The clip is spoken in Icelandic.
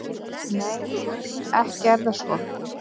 Nei, ekki er það svo.